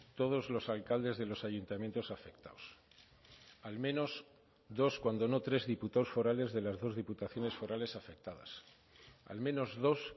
todos los alcaldes de los ayuntamientos afectados al menos dos cuando no tres diputados forales de las dos diputaciones forales afectadas al menos dos